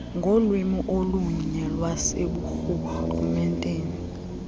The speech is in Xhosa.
ngolwimi olunye lwaseburhulumenteni